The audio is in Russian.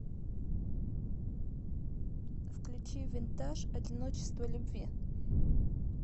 включи винтаж одиночество любви